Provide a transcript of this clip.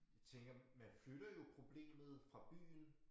Tænker man flytter jo problemet fra byen